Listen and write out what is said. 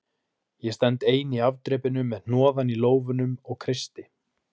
Ég stend ein í afdrepinu með hnoðann í lófanum og kreisti